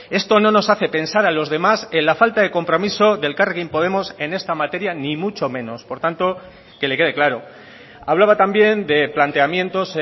esto no nos hace pensar a los demás en la falta de compromiso de elkarrekin podemos en esta materia ni mucho menos por tanto que le quede claro hablaba también de planteamientos